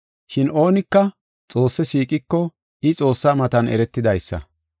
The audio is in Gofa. Shin oonika Xoosse siiqiko, I Xoossa matan eretidaysa.